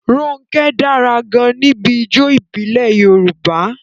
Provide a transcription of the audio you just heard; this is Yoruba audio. Ronke dára gan-an níbi ijó ìbílẹ̀ Yorùbá.